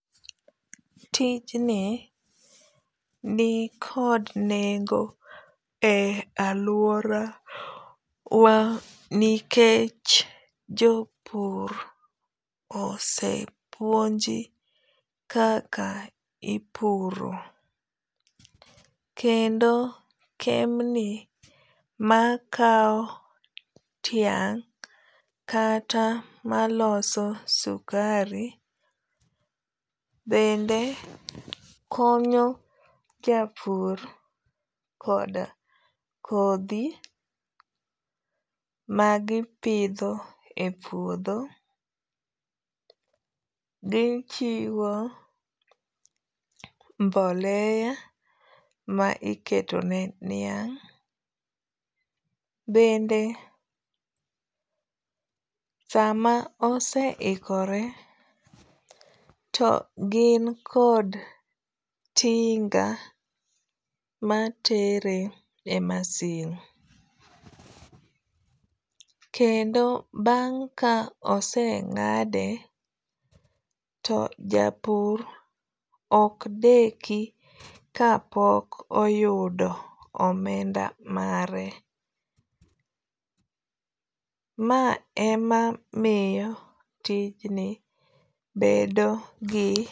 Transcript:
Tijni ni kod nengo e aluora wa nikech jopur osepuonji kaka ipuro. Kendo kembni ma kaw tiang' kata maloso sukari bende konyo japur koda kodhi magipidho e puodho. Gichiwo mboleya ma iketo ne niang'. Bende sama oseiokore to gin kod tinga matere e masin. Kendo bang' ka oseng'ade to japur ok deki kapok oyudo omenda mare. Ma emamiyo tijni bedo gi.